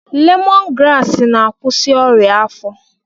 Lemọn graasị na-akwụsị ọrịa afọ.